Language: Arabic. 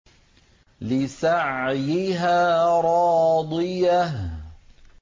لِّسَعْيِهَا رَاضِيَةٌ